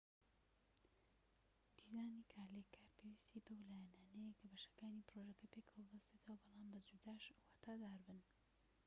دیزانی کارلێکار پێویستی بەو لایەنانەیە کە بەشەکانی پڕۆژەکە پێکەوە ببەستنەوە بەڵام بە جوداش واتادار بن